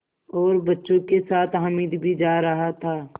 और बच्चों के साथ हामिद भी जा रहा था